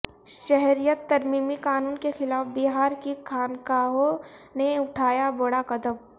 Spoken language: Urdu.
شہریت ترمیمی قانون کے خلاف بہار کی خانقاہوں نے اٹھایا بڑا قدم